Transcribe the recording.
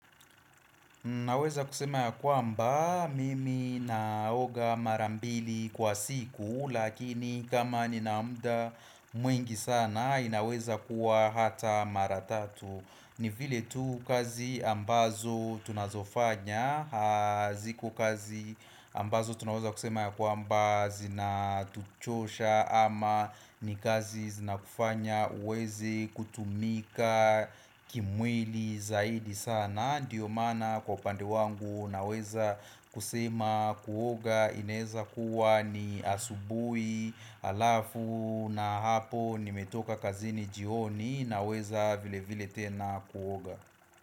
Naweza kusema ya kwamba mimi naoga marambili kwa siku lakini kama nina muda mwingi sana inaweza kuwa hata mara tatu ni vile tu kazi ambazo tunazofanya ziko kazi ambazo tunaweza kusema ya kwamba zinatuchosha ama ni kazi zinakufanya uweze kutumika kimwili zaidi sana na ndiyo maana kwa pandi wangu naweza kusema kuoga ineeza kuwa ni asubui alafu na hapo nimetoka kazini jioni naweza vile vile tena kuoga.